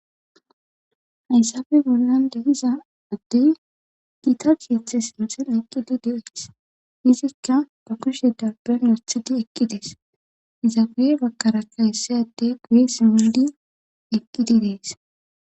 haysafe bollan dehiza addey giita kiethe sinten eqqidi de7oes izikka ba kushe dabban yothidi eqqi dees izabuye bakkarakka hessayadde guye simmidi eqqidi dees